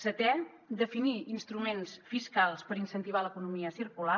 setè definir instruments fiscals per incentivar l’economia circular